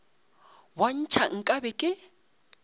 bo ntšha nka be ke